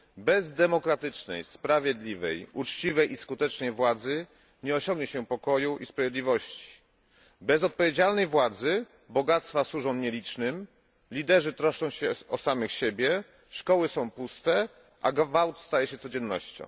Bez demokratycznej, sprawiedliwej, uczciwej i skutecznej władzy nie osiągnie się pokoju i sprawiedliwości. Bez odpowiedzialnej władzy bogactwa służą nielicznym, liderzy troszczą się o samych siebie, szkoły są puste, a gwałt staje się codziennością.